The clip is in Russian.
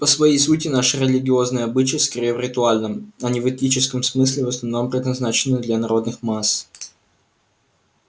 по своей сути наши религиозные обычаи скорее в ритуальном а не в этическом смысле в основном предназначены для народных масс